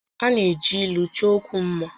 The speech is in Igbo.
A na-eji ílú chọọ ókwú mmá